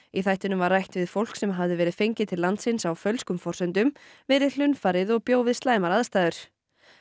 í þættinum var rætt við fólk sem hafði verið fengið til landsins á fölskum forsendum verið hlunnfarið og bjó við slæmar aðstæður